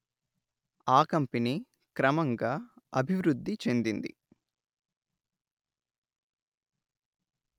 ఆ కంపెనీ క్రమంగా అభివృద్ధి చెందింది